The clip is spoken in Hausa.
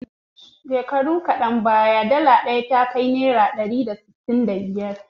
Shekaru kadan baya, dala ɗaya ta kai naira ɗari da sittin da biyar.